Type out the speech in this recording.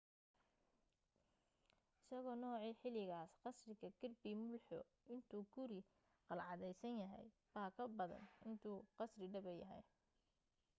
isagoo noocii xiligaas ah qasriga kirby muxloe intuu guri qalcadaysan yahay baa ka badan intuu qasri dhaba yahay